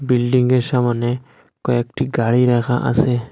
বিল্ডিংয়ের সামোনে কয়েকটি গাড়ি রাখা আছে।